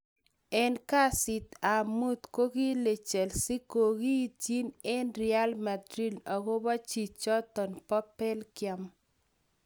en kasit ap muut ko kile chelsea kogoityin ag real madrid agopo chichton po Belgium.